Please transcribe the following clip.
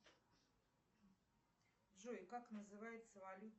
джой как называется валюта